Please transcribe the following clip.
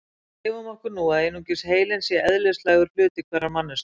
gefum okkur nú að einungis heilinn sé eðlislægur hluti hverrar manneskju